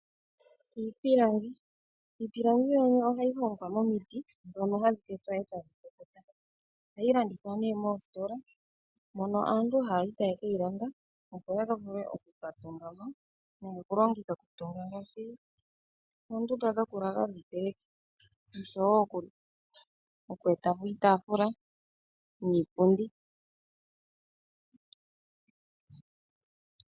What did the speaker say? Iipilangi Iipilangi ohayi hongwa momiti ndhono hadhi tetwa e tadhi kukuta. Ohayi landithwa moositola, mono aantu haya yi e taye ke yi landa, opo ya vule oku ka tunga mo nomokulongithwa okutunga ngaashi oondunda dhokulala dhiipeleki noshowo oku eta po iitaafula niipundi.